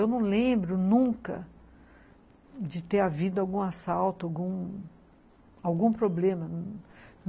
Eu não lembro nunca de ter havido algum assalto, algum... algum problema.